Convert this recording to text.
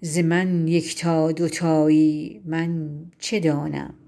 ز من یکتا دو تایی من چه دانم